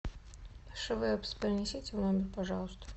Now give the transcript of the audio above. швэпс принесите в номер пожалуйста